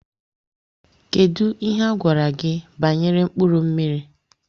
Kedụ ihe gwara gị banyere mkpụrụ mmiri?